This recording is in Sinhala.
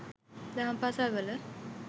දහම් පාසල් වල